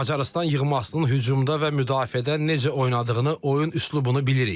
Macarıstan yığmasının hücumda və müdafiədə necə oynadığını, oyun üslubunu bilirik.